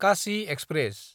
Kashi express